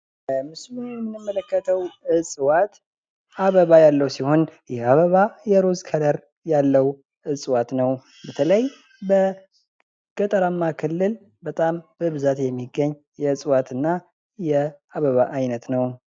በምስሉ ላይ የምንመለከተው እጽዋት አበባ ያለው ሲሆን ይህ አበባ የሩዝ ከለር ያለው እጽዋት ነው። በተለይ በገጠራማ ክልል በብዛት የሚገኝ የእጽዋት እና የአበባ አይነት ነው።